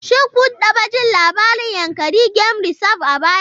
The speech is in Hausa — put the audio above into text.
Shin kun taɓa jin labarin Yankari Game Reserve a baya?